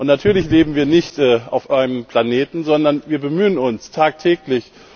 Natürlich leben wir nicht auf einem anderen Planeten, sondern wir bemühen uns tagtäglich.